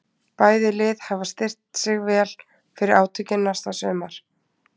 Bæði lið hafa styrkt sig vel fyrir átökin næsta sumar.